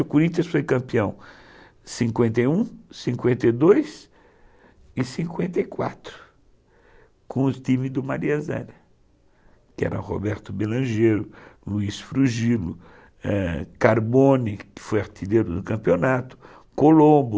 O Corinthians foi campeão em cinquenta e um, cinquenta e dois, e, cinquenta e quatro, com o time do Maria Zélia, ela, que era Roberto Belangeiro, Luiz Frugilo, é, Carbone, que foi artilheiro no campeonato, Colombo,